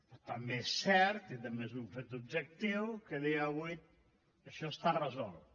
però també és cert que també és un fet objectiu que a dia d’avui això està resolt